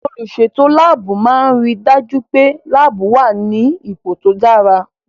Olùsètò láàbù máa n ri dájú pé láàbù wà ní ipò tó dára